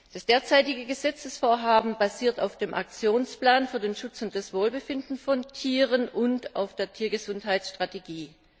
Das derzeitige Gesetzesvorhaben basiert auf dem Aktionsplan für den Schutz und das Wohlbefinden von Tieren und auf der Tiergesundheitsstrategie.